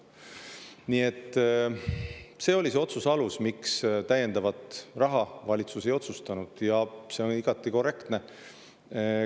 Nii et see oli see otsuse alus, miks täiendavat raha valitsus otsustas mitte anda, ja see on igati korrektne.